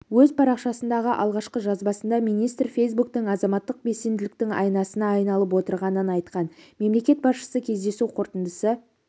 өз парашасындағы алғашқы жазбасында министр фейсбуктың азаматтық белсенділіктің айнасына айналып отырғанын айтқан мемлекет басшысы кездесу қорытындысы